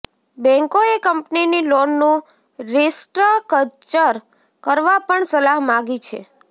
બેન્કોએ કંપનીની લોનનું રિસ્ટ્રકચર કરવા પણ સલાહ માગી છે